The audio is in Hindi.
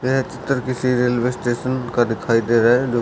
इस चितर किसी रेलवे स्टेशन का दिखाई दे रहा हैजो--